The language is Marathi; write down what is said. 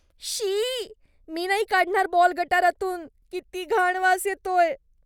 शी, मी नाही काढणार बॉल गटारातून. किती घाण वास येतोय.